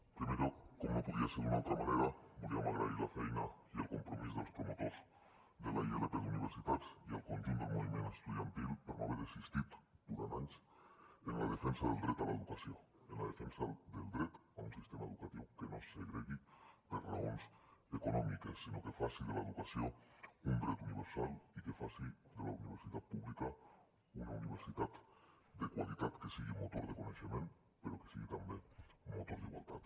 en primer lloc com no podria ser d’una altra manera voldríem agrair la feina i el compromís dels promotors de la ilp d’universitats i al conjunt del moviment estudiantil per no haver desistit durant anys en la defensa del dret a l’educació en la defensa del dret d’un sistema educatiu que no segregui per raons econòmiques sinó que faci de l’educació un dret universal i que faci de la universitat pública una universitat de qualitat que sigui motor de coneixement però que sigui també motor d’igualtat